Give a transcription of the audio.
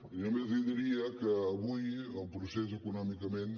jo només li diria que avui el procés econòmicament